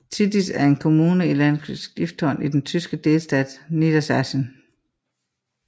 Tiddische er en kommune i Landkreis Gifhorn i den tyske delstat Niedersachsen